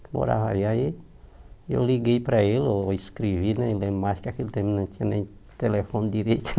Morava aí, aí eu liguei para ele, ou escrevi, né, nem lembro mais que naquele tempo não tinha nem telefone direito.